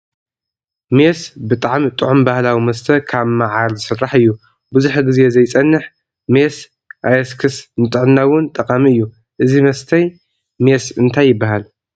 ሜስ ብጣዕሚ ጥዑም ባህላዊ መስተ ካብ ማዓር ዝስራሕ እዩ። ብዙሕ ግዜ ዘይፀንሐ ሜስ ኣየስክስ ንጥዕና እውን ጠቃሚ እዩ። እዚ መስተይ ሜስ እንታይ ይበሃል ?